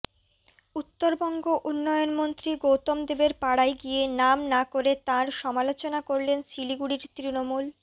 উত্তরবঙ্গ উন্নয়ন মন্ত্রী গৌতম দেবের পাড়ায় গিয়ে নাম না করে তাঁর সমালোচনা করলেন শিলিগুড়ির তৃণমূল